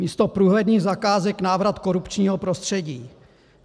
Místo průhledných zakázek návrat korupčního prostředí.